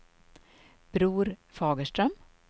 Bror Fagerström